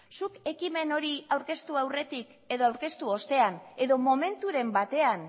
zuk ekimen hori aurkeztu aurretik edo aurkeztu ostean edo momenturen batean